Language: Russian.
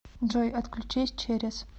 джой отключись через